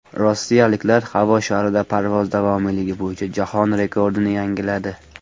Rossiyaliklar havo sharida parvoz davomiyligi bo‘yicha jahon rekordini yangiladi.